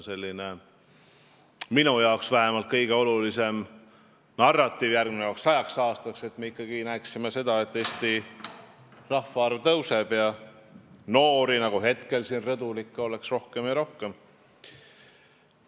See on vähemalt minu jaoks järgnevaks sajaks aastaks kõige olulisem narratiiv, et me näeksime seda, et Eesti rahvaarv tõuseb ja noori, nagu praegu siin rõdul, oleks ikka rohkem ja rohkem.